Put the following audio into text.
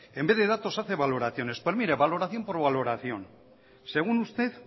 en vez de datos hace valoraciones pues mire valoración por valoración según usted